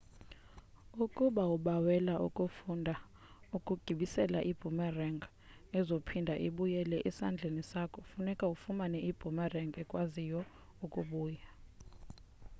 ukuba ubawela ukufunda ukugibisela iboomerang ezophinda ibuyele esandleni sakho funeke ufumane iboomerang ekwaziyo ukubuya